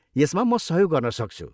यसमा म सहयोग गर्न सक्छु।